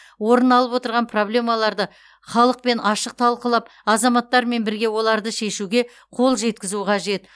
орын алып отырған проблемаларды халықпен ашық талқылап азаматтармен бірге оларды шешуге қол жеткізу қажет